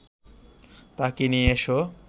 তাঁকে নিয়ে এসো